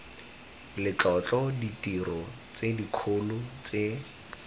letlotlo ditiro tse dikgolo tse